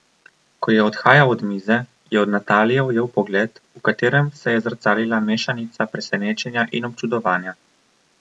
Ko je odhajal od mize, je od Natalije ujel pogled, v katerem se je zrcalila mešanica presenečenja in občudovanja.